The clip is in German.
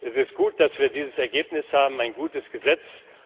Es ist gut, dass wir dieses Ergebnis haben, ein gutes Gesetz.